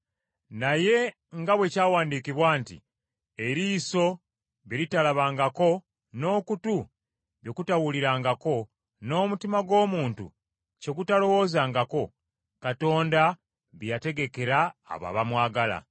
Naye nga bwe kyawandiikibwa nti, “Eriiso bye litalabangako, n’okutu bye kutawulirangako, n’omutima gw’omuntu kye gutalowoozangako Katonda bye yategekera abo abamwagala.”